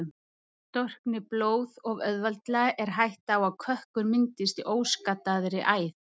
Storkni blóð of auðveldlega er hætta á að kökkur myndist í óskaddaðri æð.